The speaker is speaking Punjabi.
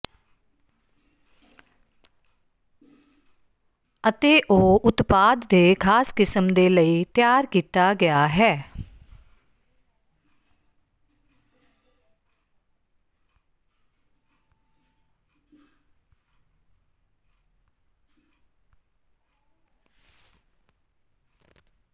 ਅਤੇ ਉਹ ਉਤਪਾਦ ਦੇ ਖਾਸ ਕਿਸਮ ਦੇ ਲਈ ਤਿਆਰ ਕੀਤਾ ਗਿਆ ਹੈ